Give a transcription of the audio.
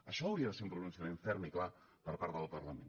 això hauria de ser un pronunciament ferm i clar per part del parlament